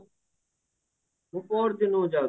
ମୁଁ ପହରଦିନକୁ ଯାଉଚି